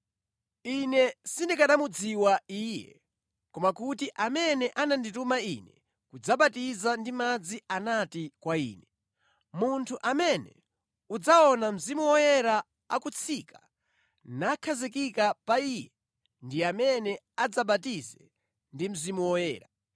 Ine sindikanamudziwa Iye, koma kuti amene anandituma ine kudzabatiza ndi madzi anati kwa ine, ‘Munthu amene udzaona Mzimu Woyera akutsika nakhazikika pa Iye ndi amene adzabatize ndi Mzimu Woyera.’